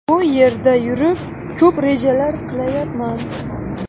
Bu yerda yurib, ko‘p rejalar qilyapman.